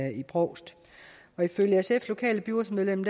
i brovst ifølge sfs lokale byrådsmedlem